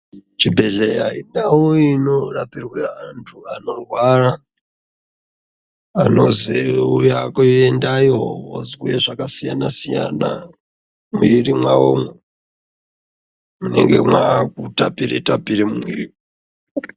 Chibhedhlera indau inorapirwa antu anorwara Anoziva kuendayo kozwa zvakasiyana siyana mumwiri mawomo munenge mavakutapira tapira mumwiri.